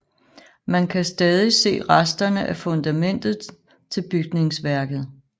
Man kan stadig se resterne af fundamentet til bygningsværket